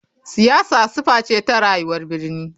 Siyasa sifa ce ta rayuwar birni.